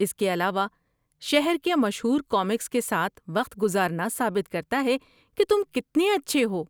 اس کے علاوہ، شہر کے مشہور کامکس کے ساتھ وقت گزارنا ثابت کرتا ہے کہ تم کتنے اچھے ہو۔